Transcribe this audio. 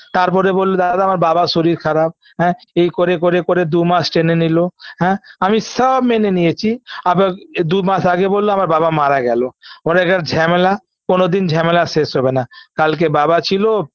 তারপরে বলল দাদা আমার বাবার শরীর খারাপ হ্যাঁ এই করে করে করে দুমাস টেনে নিল হ্যাঁ আমি সওব মেনে নিয়েছি আবার দু মাস আগে বলল আমার বাবা মারা গেলো ওর এখন ঝ্যমেলা কোনদিন ঝ্যমেলা শেষ হবেনা কালকে বাবা ছিল